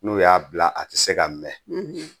N'u y'a bila a tɛ se ka mɛɛn